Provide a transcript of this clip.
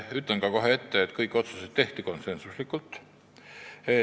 Ütlen kohe ette, et kõik otsused tehti konsensusega.